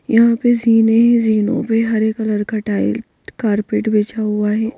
यहाँ पे जीने हैं जीनों पे हरे कलर का टाइल कारपेट बिछा हुआ है.